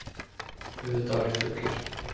Auðvitað var ég fullur.